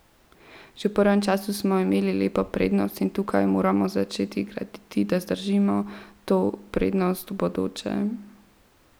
Že v prvem polčasu smo imeli lepo prednost in tukaj moramo začeti graditi, da zadržimo to prednost v bodoče.